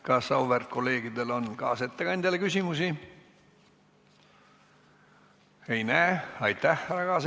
Kas auväärt kolleegidel on kaasettekandjale küsimusi?